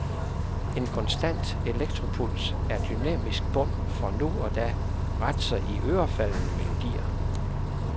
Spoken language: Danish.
En konstant elektropuls er dynamisk bund for nu og da ret så iørefaldende melodier.